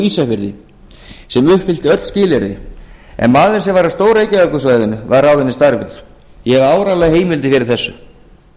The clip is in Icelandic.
ísafirði sem uppfyllti öll skilyrði en maður af stór reykjavíkursvæðinu var ráðinn í starfið ég hef áreiðanlegar heimildir fyrir þessu